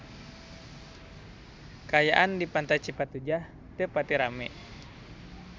Kaayaan di Pantai Cipatujah teu pati rame